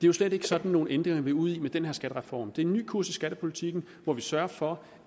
jo slet ikke sådan nogen ændringer vi er ude i med den her skattereform det er en ny kurs i skattepolitikken hvor vi sørger for